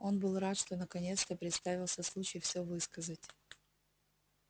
он был рад что наконец-то представился случай всё высказать